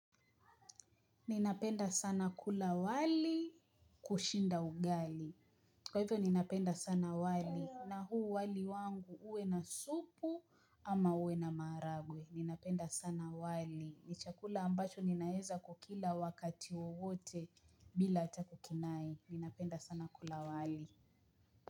Ninapenda sana kula wali kushinda ugali. Kwa hivyo ninapenda sana wali. Na huu wali wangu uwe na supu ama uwe na maharagwe. Ninapenda sana wali. Ni chakula ambacho ninaeza kukila wakati wowote bila hata kukinai. Ninapenda sana kula wali.